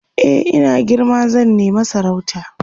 e in na girma zan nema sarauta